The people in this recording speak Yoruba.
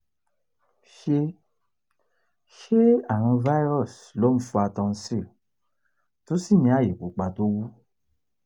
ṣé ṣé àrùn virus ló n fa tonsil tó sì ní aye pupa tó wú?